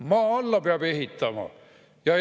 Maa alla peab ehitama!